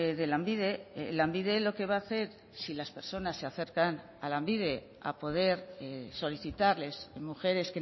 de lanbide lanbide lo que va a hacer si las personas se acercan a lanbide a poder solicitarles mujeres